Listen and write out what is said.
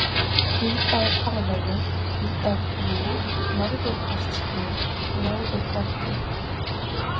Hvítárfarvegur, Hvítárbrú, Norðurkastsgil, Rjóðurborgir